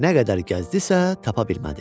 Nə qədər gəzdisə, tapa bilmədi.